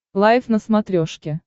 лайф на смотрешке